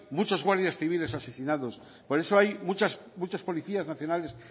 mucho guardias civiles asesinados por eso hay muchos policías nacionales